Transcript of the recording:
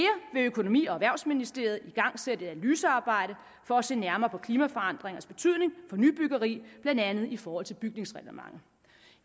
vil økonomi og erhvervsministeriet igangsætte et analysearbejde for at se nærmere på klimaforandringernes betydning for nybyggeri blandt andet i forhold til bygningsreglementet